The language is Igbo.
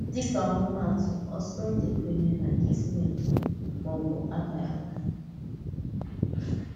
Dịka ọmụmaatụ, ọ̀tụtụ ndị kwènyèrè na Kismet, mà ọ bụ akara aka.